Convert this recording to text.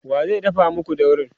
wa zai dafa maku daurin?